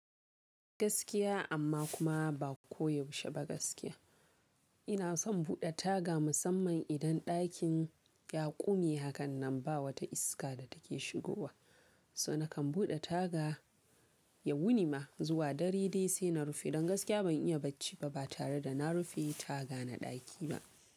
Gaskiya amma kuma ba koyaushe ba gaskiya. Ina son buɗe taga musamman idan ɗakin ya ƙumi hakanan ba wata iska da take shigowa. So nakan buɗe taga ya wuni ma zuwa dare dai sai na rufe. Don gaskiya ban iya bacci ba ba tare da na rufe taga na ɗaki ba.